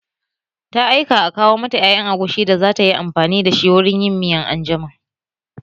Ta aika a kawo mata ƴaƴan agushi da za tayi amfani da wurin yin miya anjima